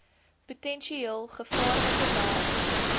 potensieel gevaarlike werk